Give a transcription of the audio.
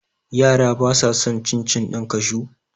Yara ba sa san cin - cin ɗin kashu